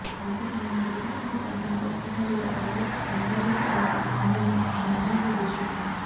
అయితే ఆయన పర్యటిస్తున్న ప్రాంతంలో ఒక్కసారిగా రాళ్లు కాన్వాయ్ పై పడటం అందరిని ఆందోళనకు గురి చేసింది